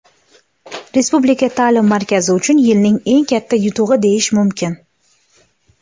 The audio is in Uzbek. Respublika taʼlim markazi uchun yilning eng katta yutug‘i deyish mumkin.